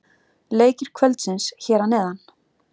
Leikir kvöldsins hér að neðan: